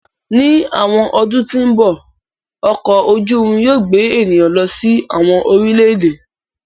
Ni awọn ọdun ti n bọ, ọkọ oju irin yóò gbe eniyan lọ si awọn orilẹ-ede.